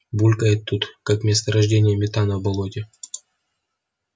булькает тут как месторождение метана в болоте